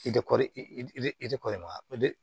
I tɛ kɔɔri i tɛ kɔri mara o de